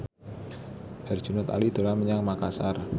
Herjunot Ali dolan menyang Makasar